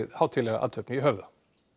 hátíðlega athöfn í Höfða